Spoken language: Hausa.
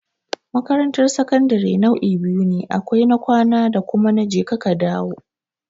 Makarantar sakandare nau'i biyu ne, akwai na kwana da kuma na je ka ka dawo.